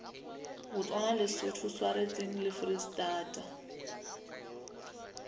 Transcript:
botswana lesotho swatseng le foreistata